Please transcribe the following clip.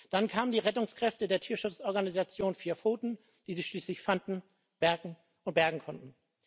Dann kamen die Rettungskräfte der Tierschutzorganisation Vier Pfoten, die sie schließlich fanden und bergen konnten.